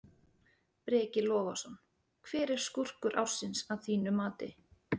Breki Logason: Hver er skúrkur ársins að þínu mati?